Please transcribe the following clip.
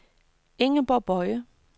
Ingeborg Boye